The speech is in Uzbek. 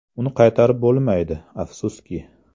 Uni qaytarib bo‘lmaydi, afsuski.